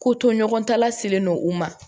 Ko to ɲɔgɔn ta laselen don u ma